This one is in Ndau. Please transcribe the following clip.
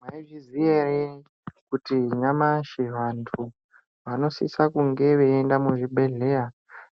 Mwaizviziya ere ,kuti nyamashi vantu vanosisa kunge veienda muzvibhedhleya